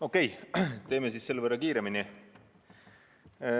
Okei, teeme siis selle võrra kiiremini.